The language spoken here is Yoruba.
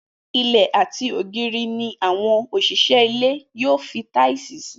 Ilẹ̀ àti ògiri ni àwọn òṣìṣẹ́ ilé yóò fi táìsì ṣe